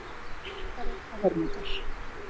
Hamfarir og hörmungar